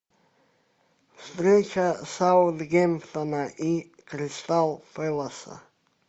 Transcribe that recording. встреча саутгемптона и кристал пэласа